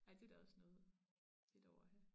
Ej det da også noget det dog at have